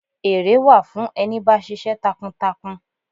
Ere wà fún ẹni bá ṣiṣẹ́ takuntakun.